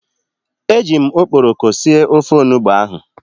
E jim okporoko sie ofe onugbu ahu